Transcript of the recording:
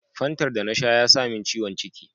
Fantar da na sha ya samin ciwon ciki.